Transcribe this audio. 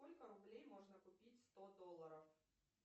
сколько рублей можно купить сто долларов